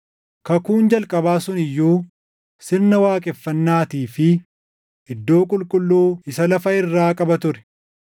Kakuun jalqabaa sun iyyuu sirna waaqeffannaatii fi iddoo qulqulluu isa lafa irraa qaba ture.